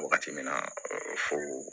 Wagati min na fo